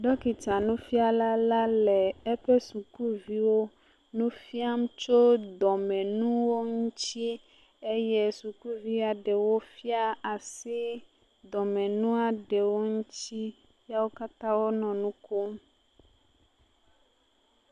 Ɖɔkitanufiala la le eƒe sukuviwo nu fiam tso dɔmenuwo ŋutie eye sukuvi aɖewo fia asi dɔmenua ɖewo ŋutsi ya wo katã wonɔ nu kom.